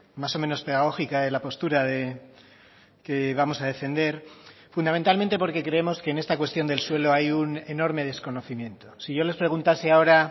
más o menos pedagógica de la postura que vamos a defender fundamentalmente porque creemos que en esta cuestión del suelo hay un enorme desconocimiento si yo les preguntase ahora